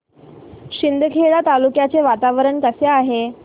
शिंदखेडा तालुक्याचे वातावरण कसे आहे